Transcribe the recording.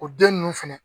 O den ninnu fɛnɛ